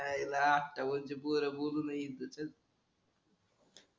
च्या आईला आता वरचे पोर बोलू नाही इथ चल